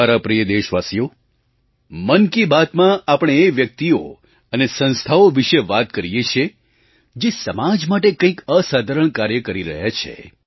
મારા પ્રિય દેશવાસીઓ મન કી બાતમાં આપણે એ વ્યક્તિઓ અને સંસ્થાઓ વિશે વાત કરીએ છીએ જે સમાજ માટે કંઈક અસાધારણ કાર્ય કરી રહ્યા છે